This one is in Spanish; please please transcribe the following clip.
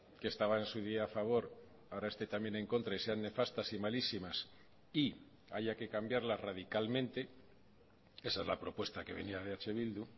que estaba en su día a favor ahora esté también en contra y sean nefastas y malísimas y haya que cambiarla radicalmente esa es la propuesta que venía de eh bildu